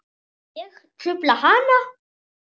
Ég trufla hana.